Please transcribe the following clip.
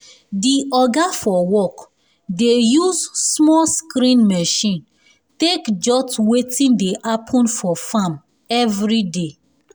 de oga for work dey use small screen machine take jot wetin dey happen for farm every day."